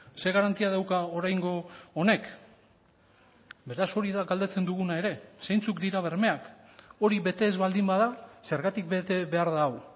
ze garantia dauka oraingo honek beraz hori da galdetzen duguna ere zeintzuk dira bermeak hori bete ez baldin bada zergatik bete behar da hau